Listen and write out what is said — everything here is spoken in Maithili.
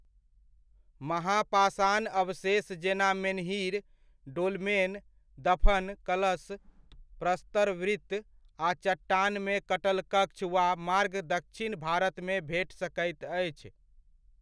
महापाषाण अवशेष जेना मेन्हीर, डोलमेन, दफन कलश, प्रस्तर वृत्त आ चट्टानमे कटल कक्ष वा मार्ग दक्षिण भारतमे भेट सकैत अछि।